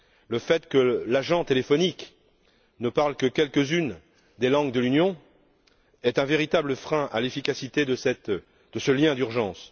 Le fait que l'agent téléphonique ne parle que quelques unes des langues de l'Union est un véritable frein à l'efficacité de ce lien d'urgence.